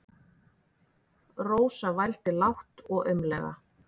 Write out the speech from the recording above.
Rósa vældi lágt og aumlega.